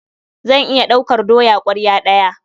Zan iya ɗaukar doya ƙwarya ɗaya.